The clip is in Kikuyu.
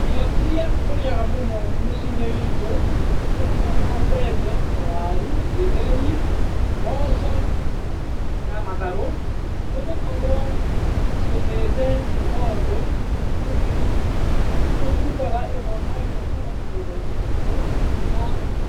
Irio irĩa tũrĩaga mũciĩ-inĩ witũ, nĩ hamwe na mbembe, waru, gĩtheri, mboco, na matharũ. Nĩ gũkorwo tũciendete nĩ tondũ, nĩ tũcirutaga ĩmwe kwa ĩmwe kuuma mĩgũnda-inĩ iitũ, na